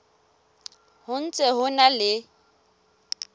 ho ntse ho na le